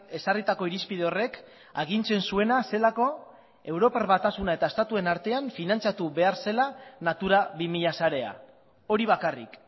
ezarritako irizpide horrek agintzen zuena zelako europar batasuna eta estatuen artean finantziatu behar zela natura bi mila sarea hori bakarrik